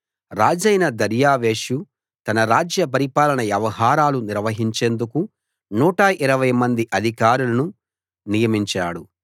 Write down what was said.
రాజైన దర్యావేషు తన రాజ్య పరిపాలన వ్యవహారాలు నిర్వహించేందుకు 120 మంది అధికారులను నియమించాడు